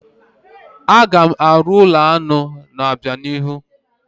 Aga m arụ ụlọ aṅụ n'obianihu.